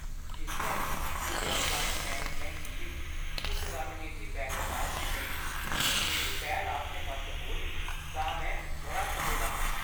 जिसलै senior client management team उस रणनीति बैठक आस्तै नेईं पुज्जी जेह्ड़ी पै‌ह्‌ल आस्तै म्हत्तवपूर्ण ही, तां में बड़ा चपे दा हा।